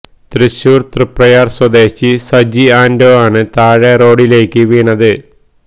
തൃശൂര് തൃപ്പയാര് സ്വദേശി സജി ആന്റോ ആണ് താഴെ റോഡിലേക്ക് വീണത്